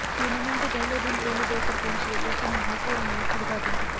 tournament ਦੇ ਪਹਿਲੇ ਦਿਨ ਪਿੰਡ ਦੇ ਸਰਪੰਚ ਜੱਗਾ ਸਿੰਘ ਮਾਂਹਪੁਰ ਨੇ ਉਦਘਾਟਨ ਕੀਤਾ